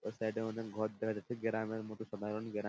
ওই সাইড - এর মতোন ঘর দেখা যাচ্ছে গেরাম এর মতো সাধারণ গেরাম।